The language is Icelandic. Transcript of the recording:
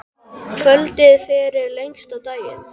Kvöldið fyrir lengsta daginn.